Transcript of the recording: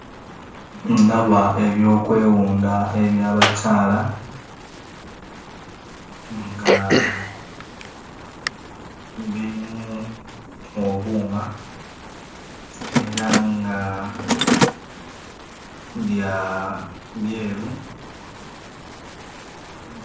Ndaba ebyokwewunda eby'abakyala nga birimu obuuma era nga bya byeru.